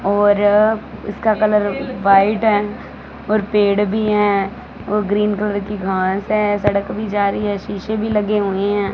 और इसका colour white है और पेड़ भी हैं और ग्रीन कलर की घास है सड़क भी जा रही है शीशे भी लगे हुए हैं।